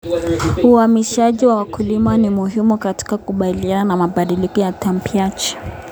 Uhamasishaji wa wakulima ni muhimu katika kukabiliana na mabadiliko ya tabianchi.